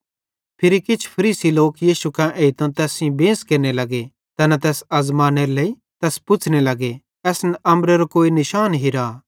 फिरी किछ फरीसी लोक यीशु कां एइतां तैस सेइं बेंस केरने लग्गे तैना तैस आज़मानेरे लेइ तैस पुछ़्ने लग्गे असन अम्बरेरां कोई निशान हिरा